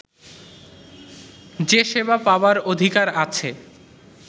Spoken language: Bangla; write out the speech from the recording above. যে সেবা পাবার অধিকার আছে